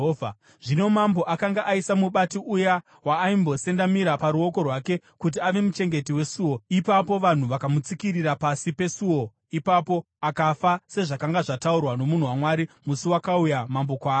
Zvino mambo akanga aisa mubati uya waaimbosendamira paruoko rwake kuti ave muchengeti wesuo, ipapo vanhu vakamutsikirira pasi pesuo ipapo, akafa, sezvakanga zvataurwa nomunhu waMwari musi wakauya mambo kwaari.